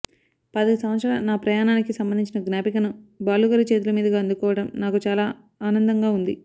పాతిక సంవత్సరాల నా ప్రయాణానికి సంబంధించిన జ్ఞాపికను బాలు గారి చేతుల మీదుగా అందుకోవడం నాకు చాలా ఆనందంగా ఉంది